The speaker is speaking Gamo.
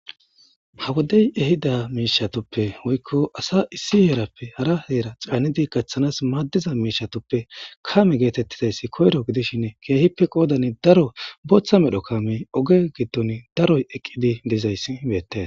ha wodey ehida miishatoppe woykko asa issi heerappe hara heera caanidi gacththanas maaddiza miishatoppe kame geetettizayssi koyro gidishin keehippe qoodani daro booththa medho kame oge gidton daro eqqidi dizayssi beettees